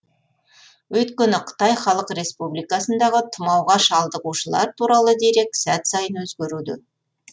өйткені қытай халық республикасындағы тұмауға шалдығушылар туралы дерек сәт сайын өзгеруде